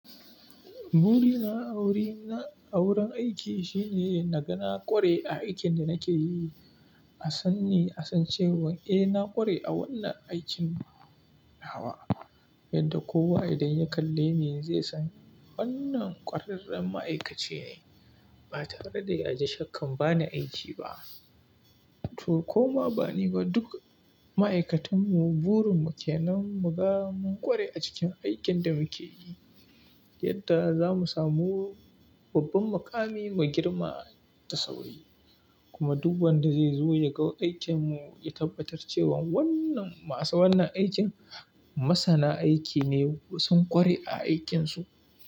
Burina a wurin aiki shine na ga na ƙware a aikin da nake yi. A san ni, a san cewa eh na ƙware a wannan aikin hawa, yadda kowa idan ya kalle ni zai san wannan ƙwararren ma'aikaci ne. Ba tare da ya ji shakka bana aiki ba. To kuma ba ni ba, duk ma'aikatanmu burin mu ke nan mu ga mun ƙware a cikin aikin da muke yi, yadda za mu samu babban maƙami mai girma da sauri. Kuma duk wanda zai zo ya ga aikinmu, ya tabbatar cewa wannan masu wannan aikin masana aiki ne, sun ƙware a aikinsu.